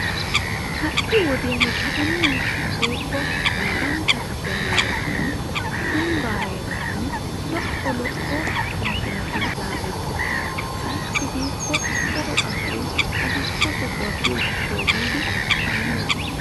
Ha'i wodiyan ambba heeran lo'o lo'o kaametti laagettosonna ayssi giikko asay haahosa biyo gishawu giiddi shammosonna.